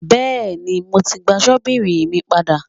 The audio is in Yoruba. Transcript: Bẹ́ẹ̀ni, mo ti gba ṣọ́bìrì mi padà.